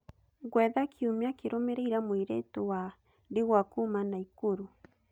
gwetha kiumia kĩrũmĩrĩire mũirĩtu wa ndigwa kuuma nakuru